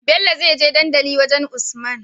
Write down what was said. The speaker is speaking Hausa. Bello zai je dandali wajan usman